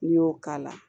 N'i y'o k'a la